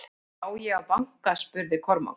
Á ég að banka spurði Kormákur.